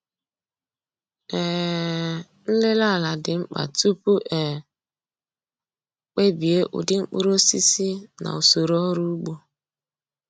um Nlele ala dị mkpa tupu e kpebie ụdị mkpụrụosisi na usoro ọrụ ugbo.